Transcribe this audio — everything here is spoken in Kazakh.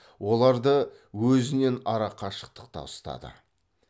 оларды өзінен ара қашықтықта ұстады